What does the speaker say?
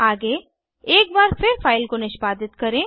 आगे एक बार फिर फाइल को निष्पादित करें